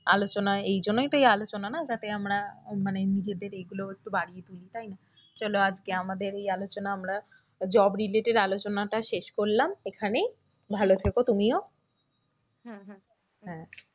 আলোচনায় এই জন্যই তুই আলোচনা না যাতে আমরা মানে নিজেদের ইয়েগুলো একটু বাড়িয়ে তুলি তাই না, চলো আজকে আমাদের এই আলোচনা আমরা job related আলোচনাটা শেষ করলাম এখানেই ভালো থেকো তুমিও হ্যাঁ